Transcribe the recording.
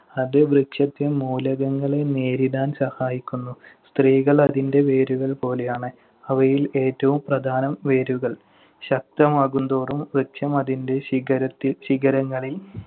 അത് വൃക്ഷത്തെ മൂലകങ്ങളെ നേരിടാൻ സഹായിക്കുന്നു. സ്ത്രീകൾ അതിന്‍റെ വേരുകൾ പോലെയാണ്. അവയിൽ ഏറ്റവും പ്രധാനം വേരുകൾ ശക്തമാകുംതോറും വൃക്ഷം അതിന്‍റെ ശിഖരത്തിൽ~ ശിഖരങ്ങളിൽ